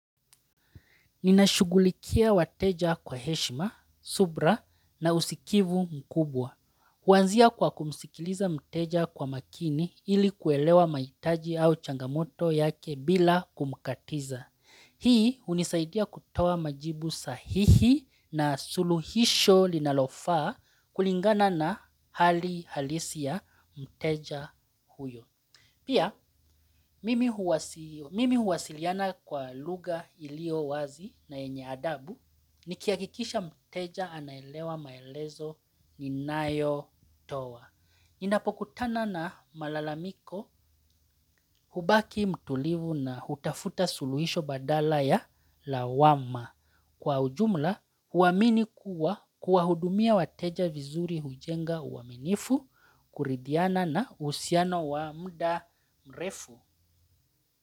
Ninashugulikia wateja kwa heshima, subira na usikivu mkubwa. Huanzia kwa kumsikiliza mteja kwa makini ili kuelewa mahitaji au changamoto yake bila kumkatiza. Hii hunisaidia kutoa majibu sahihi na suluhisho linalofaa kulingana na hali halisi ya mteja huyo. Pia, mimi huwasiliana kwa lugha iliyo wazi na yenye adabu ni kihakikisha mteja anaelewa maelezo ni nayo toa. ninapokutana na malalamiko hubaki mtulivu na hutafuta suluhisho badala ya lawama. Kwa ujumla, huamini kuwa kuwa hudumia wateja vizuri hujenga uaminifu kuridhiana na uhusiano wa muda mrefu.